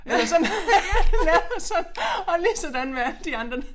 Eller sådan laver sådan og lige sådan med alle de andre